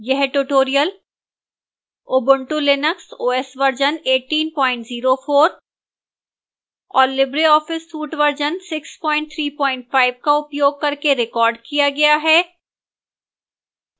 यह tutorial ubuntu linux os version 1804 और libreoffice suite version 635 का उपयोग करके recorded किया गया है